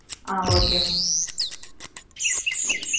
A okay mam.